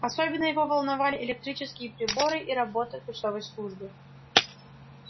особенно его волновали электрические приборы и работа почтовой службы